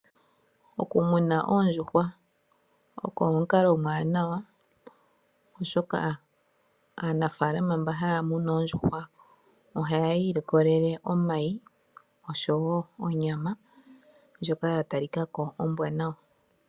Okumuna oondjuhwa oko omukalo omwaanawa, oshoka aanafaalama mba haya munu oondjuhwa ohayi ilikolele omayi oshowo onyama ndjoka ya talika ko ombwaanawa.